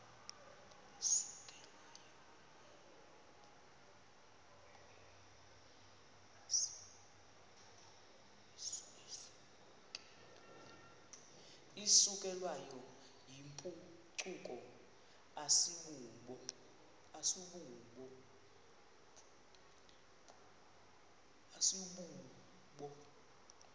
isukelwayo yimpucuko asibubo